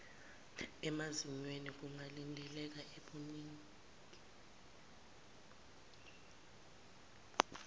emazinyweni kungalindeleka ebuningini